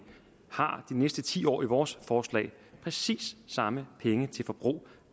har næste ti år i vores forslag præcis samme penge til forbrug